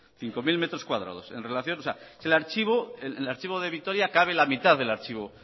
cinco mil metros cuadrados en el archivo de vitoria cabe la mitad del archivo